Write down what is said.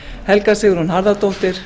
helga sigrún harðardóttir